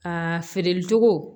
Aa feere cogo